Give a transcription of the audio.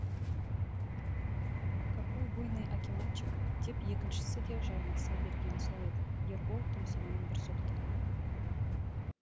какой буйный акиматчик деп екіншісі де жармаса бергені сол еді ербол тұмсығынан бір соқты